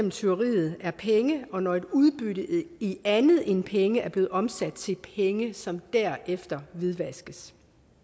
et tyveri er penge og når udbyttet i andet end penge er blevet omsat til penge som derefter hvidvaskes